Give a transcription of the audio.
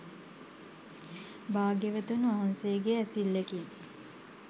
භාග්‍යවතුන් වහන්සේගේ ඇසිල්ලෙකින්